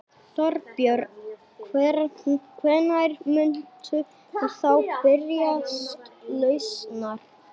Þorbjörn: Hvenær muntu þá biðjast lausnar?